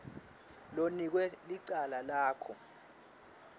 lonikwe licala lakho